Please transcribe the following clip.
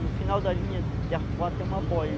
No final da linha, de arpoar, tem uma